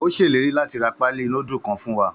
Ó ṣèlérí láti ra paali nudulu kan fún wa.